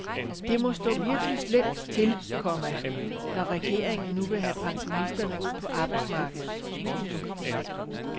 Det må stå virkelig slemt til, komma når regeringen nu vil have pensionisterne ud på arbejdsmarkedet. punktum